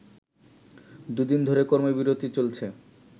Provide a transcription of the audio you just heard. দু’দিন ধরে কর্মবিরতি চলছে